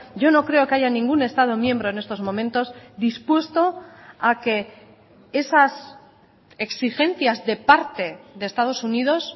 yo no creo que haya ningún estado miembro en estos momentos dispuesto a que esas exigencias de parte de estados unidos